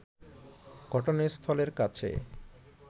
ঘটনাস্থলের কাছে